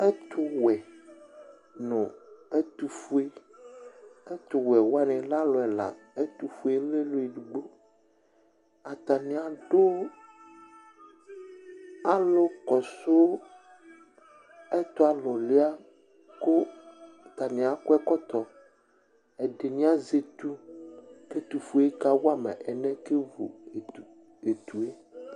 Ɛtʋwɛ nʋ ɛtʋfue Ɛtʋwɛ wani lɛ alʋ ɛla, ɛtʋfue lɛ alʋ edigbo Atani adʋ alʋ kɔsʋ ɛtʋ alʋlua kʋ atani akɔ ɛkɔtɔ, ɛdini azɛ etu k'ɛtʋfue yɛ ka wama alɛnɛ kevu etu yɛ